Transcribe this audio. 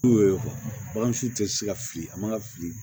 N'u y'o ye bagan su tɛ se ka fili a man ka fili